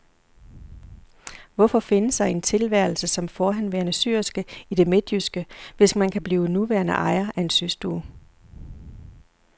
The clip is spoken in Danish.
Hvorfor finde sig i en tilværelse som forhenværende syerske i det midtjyske, hvis man kan blive nuværende ejer af en systue.